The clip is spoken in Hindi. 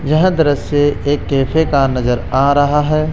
यह दृश्य एक कैफ़े का नजर आ रहा हैं।